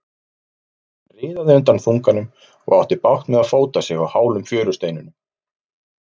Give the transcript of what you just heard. Hann riðaði undan þunganum og átti bágt með að fóta sig á hálum fjörusteinunum.